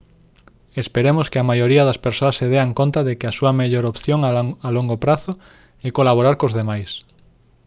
esperemos que a maioría das persoas se dean conta de que a súa mellor opción a longo prazo é colaborar cos demais